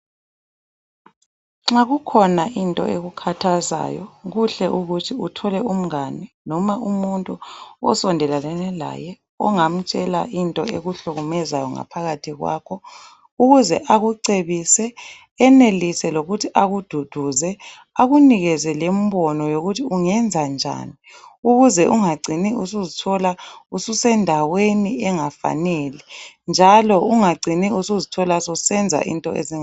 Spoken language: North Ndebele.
Nxa kukhona into ekukhathazayo , kuhle ukuthi uthole umngane ,noma umuntu osendelelane laye ongamtshela into ekuhlukumezayo ngaphakathi kwakho .Ukuze akucebise enelise lokuthi akududuze akunikeze lembono yokuthi ungenzanjani .Ukuze ungacini usuzithola ususendaweni engafanele njalo ungacini usuzithola susenza into ezinga.